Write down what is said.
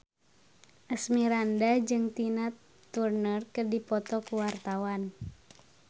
Asmirandah jeung Tina Turner keur dipoto ku wartawan